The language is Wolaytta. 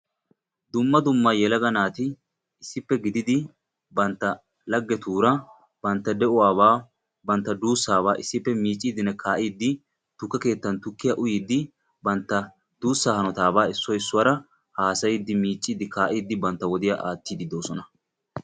Dumma dumma yelaga naati bantta lagettura tuke keettan issoy issuwara miidde uyiddi miicciddi kaa'iddi bantta wodiya aattiddi de'osonna.